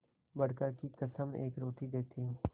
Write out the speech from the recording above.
बड़का की कसम एक रोटी देती हूँ